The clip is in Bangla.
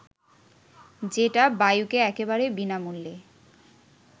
যেটা বায়ুকে একেবারে বিনামূল্যে